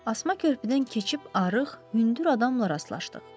Asma körpüdən keçib arıq, hündür adamla rastlaşdıq.